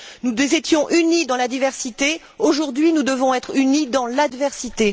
Nous étions unis dans la diversité, aujourd'hui, nous devons être unis dans l'adversité.